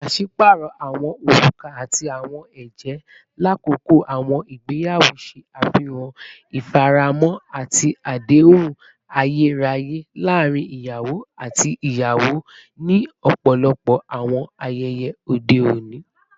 Paṣipaarọ awọn oruka ati awọn ẹjẹ lakoko awọn igbeyawo ṣe afihan ifaramo ati adehun ayeraye laarin iyawo ati iyawo ni ọpọlọpọ awọn ayẹyẹ ode oni.